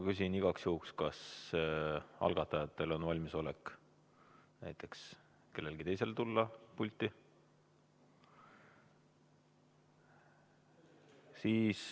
Küsin igaks juhuks, kas algatajatest kellelgi teisel on valmisolek tulla pulti.